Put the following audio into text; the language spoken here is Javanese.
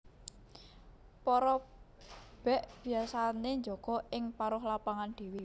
Para bèk biasané njaga ing paruh lapangan dhéwé